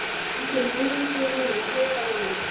Finnst þér viðeigandi hjá honum að segja það við mig?